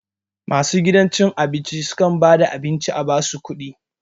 Masu gidan abinci su kam ba da abin ci a ba su kuɗi